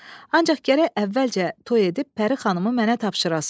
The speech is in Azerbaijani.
Ancaq gərək əvvəlcə toy edib Pəri xanımı mənə tapşırasız.